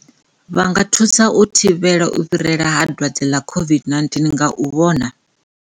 Vha nga thusa u thivhela u fhirela ha dwadze ḽa COVID-19 nga u vhona,